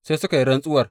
Sai suka yi rantsuwar.